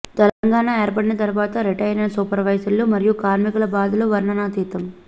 తెలంగాణా ఏర్పడిన తరువాత రిటైరైన సూపర్వైజర్లు మరియు కార్మికుల బాధలు వర్ణనాతీతం